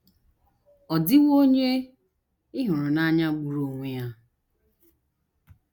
Ọ̀ Dịwo Onye Ị Hụrụ n’Anya Gburu Onwe Ya?